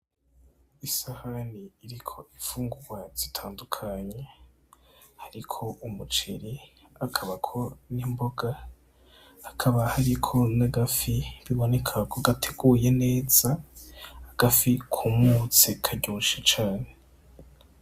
Isahani iriko imfungugwa zitandukanye hariko umuceri hakabako nimboga hakaba hariko n,agafi biboneka ko gateguye neza agafi kumutse karyoshe cane.